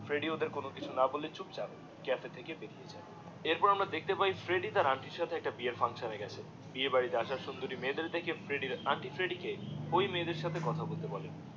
Freddie ওদের কোনো কিছু না বলে চুপ চাপ ক্যাফে থেকে বেরিয়ে যায়। এর পর আমরা দেখতে পাই ফ্রেডি তার আন্টি এর সাথে একটা বিয়ের ফাংশন এ গেছে বিয়ে বাড়িতে আসা সুন্দরী মেয়েদের দেখে ফ্রেডির আন্টি ফ্রেডি কে ঐ মেয়েদের সাথে কথা বলতে বলে